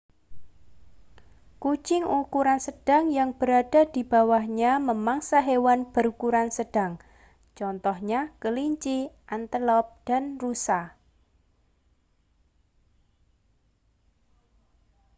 kucing ukuran sedang yang berada di bawahnya memangsa hewan berukuran sedang contohnya kelinci antelop dan rusa